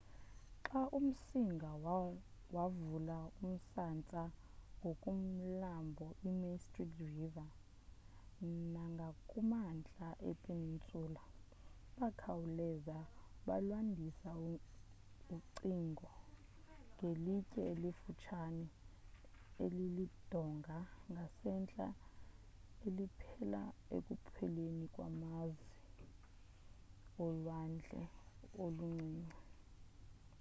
xa umsinga wavula umsantsa ngakumlambo i mystic river nangakumantla e peninsula, bakhawuleza balwandisa ucingo ngelitye elifuthsane elilidonga ngasentla eliphela ekupheleni kwamazi olwandle oluncinci